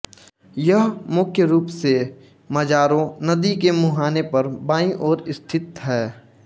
यह मुख्य रूप से मजारो नदी के मुहाने पर बाईं ओर स्थित है